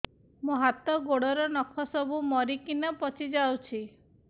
ମୋ ହାତ ଗୋଡର ନଖ ସବୁ ମରିକିନା ପଚି ଯାଉଛି